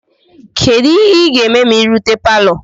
Kedu ihe ị ga-eme ma ị rute palo?